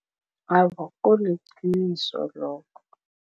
Awa, kuliqiniso lokho.